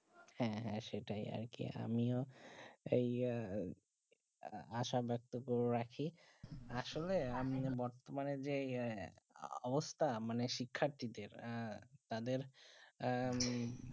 হেঁ হেঁ সেটাই আমিও আহ যে আসা ব্যক্ত করে রাখি আসলে আমি বর্তমানে যে অবস্থা মানে শিখাটির দের তাদের